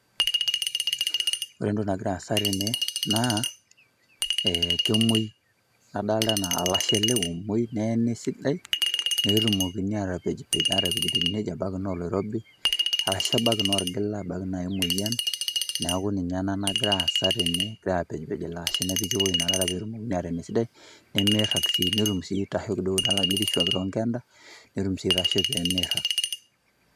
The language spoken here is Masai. Ore entoki nagira aasa tene ee kemwoi e kadolta anaa olashe ele omwoi petumokini atepejpej akiti ebaiki naa oloirobi . Arashu ebaiki naa ketijinga apake emoyian neeku ninye ena nagira aasa tene , egirae apejpej.